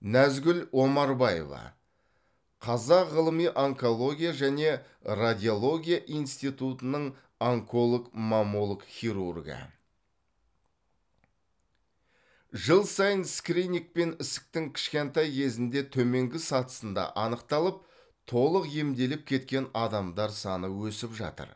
нәзгүл омарбаева қазақ ғылыми онкология және радиология институтының онколог маммолог хирургі жыл сайын скринингпен ісіктің кішкентай кезінде төменгі сатысында анықталып толық емделіп кеткен адамдар саны өсіп жатыр